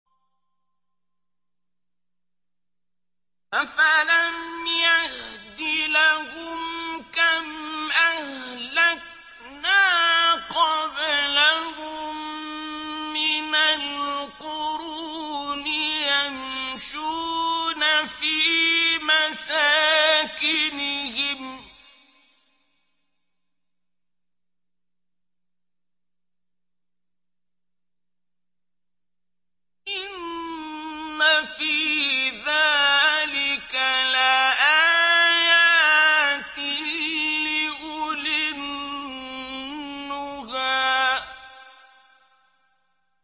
أَفَلَمْ يَهْدِ لَهُمْ كَمْ أَهْلَكْنَا قَبْلَهُم مِّنَ الْقُرُونِ يَمْشُونَ فِي مَسَاكِنِهِمْ ۗ إِنَّ فِي ذَٰلِكَ لَآيَاتٍ لِّأُولِي النُّهَىٰ